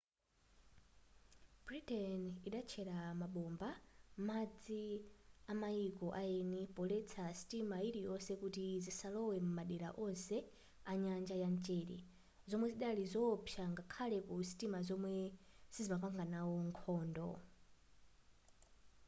britain idatchera mabomba m'madzi amayiko aeni poletsa sitima iliyonse kuti zisalowe mumadera onse anyanja ya mchere zomwe zidali zowopsa ngakhale ku sitima zomwe sizimapanganawo nkhondo